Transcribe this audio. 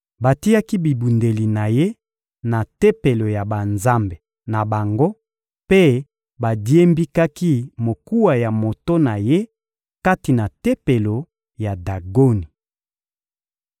Batiaki bibundeli na ye na tempelo ya banzambe na bango mpe badiembikaki mokuwa ya moto na ye kati na tempelo ya Dagoni.